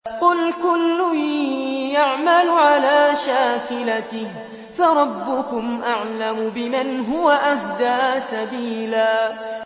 قُلْ كُلٌّ يَعْمَلُ عَلَىٰ شَاكِلَتِهِ فَرَبُّكُمْ أَعْلَمُ بِمَنْ هُوَ أَهْدَىٰ سَبِيلًا